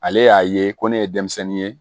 Ale y'a ye ko ne ye denmisɛnnin ye